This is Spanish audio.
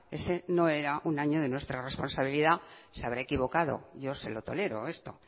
ese no era un año de nuestra responsabilidad se habrá equivocado yo se lo tolero esto